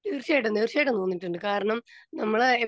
speaker 2 തീർച്ചയായിട്ടും തീർച്ചയായിട്ടും തോന്നീട്ടുണ്ട് കാരണം നമ്മളെ